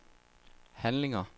handlinger